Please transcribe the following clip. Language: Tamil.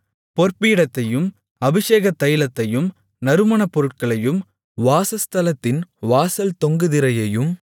பொற்பீடத்தையும் அபிஷேகத் தைலத்தையும் நறுமணப் பொருட்களையும் வாசஸ்தலத்தின் வாசல் தொங்கு திரையையும்